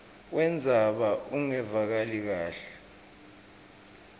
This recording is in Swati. wendzaba ungevakali kahle